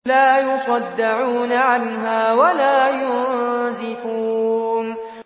لَّا يُصَدَّعُونَ عَنْهَا وَلَا يُنزِفُونَ